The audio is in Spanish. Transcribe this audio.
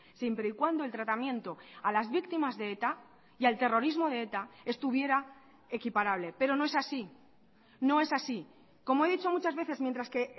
siempre y cuando el tratamiento a las víctimas de eta y al terrorismo de eta estuviera equiparable pero no es así no es así como he dicho muchas veces mientras que